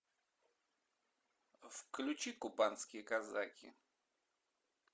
включи кубанские казаки